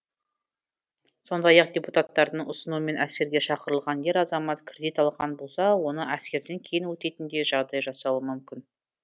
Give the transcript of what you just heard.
сондай ақ депутаттардың ұсынуымен әскерге шақырылған ер азамат кредит алған болса оны әскерден кейін өтейтіндей жағдай жасалуы мүмкін